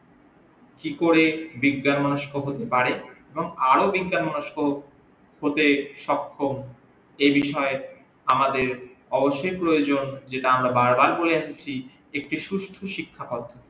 কি করে বিজ্ঞান মনস্ক হতে পারে এবং আরো বিজ্ঞান মনস্ক হতে সখ্যম এ বিষয়ে আমাদের অবশ্যই প্রয়োজন যেটা আমরা বার বার করে এসেছি একটি সুস্থ শিখ্যাকতা